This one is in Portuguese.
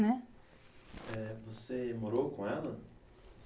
né? Eh, você morou com ela?